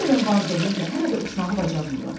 Bu qədər var dövlətlə hələ də uçmağı bacarmırlar.